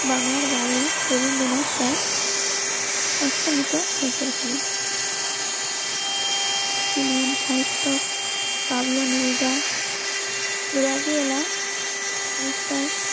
বাংলা বাংলার বাইরে রবীন্দ্রনাথ সাইফ. অষ্টমীতেও হয়ে পড়েছিলেন বাবলু নীল দা. মিস্টার